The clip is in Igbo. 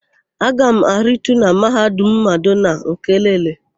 Aga m aritu na Mahadum Madonna nke Elele.